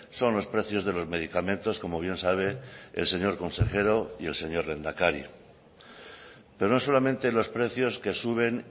son los precios de los medicamentos como bien sabe el señor consejero y el señor lehendakari pero no solamente los precios que suben